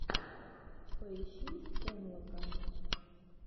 поищи стэнлока